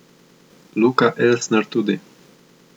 Luka Elsner tudi!